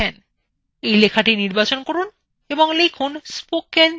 এই লেখাটি নির্বাচন করুন এবং লিখুন spoken tutorials